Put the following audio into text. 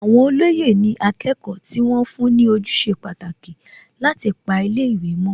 Àwọn olóyè ni akẹ́kọ̀ọ́ tí wọ́n fún ní ojúṣe pàtàkì láti pa ilé ìwé mọ́